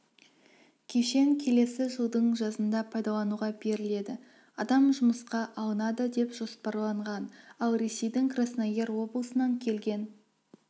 кешен келесі жылдың жазында пайдалануға беріледі адам жұмысқа алынады деп жоспарланған ал ресейдің краснояр облысынан келген